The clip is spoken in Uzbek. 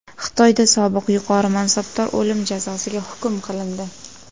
Xitoyda sobiq yuqori mansabdor o‘lim jazosiga hukm qilindi.